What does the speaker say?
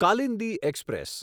Kalindi express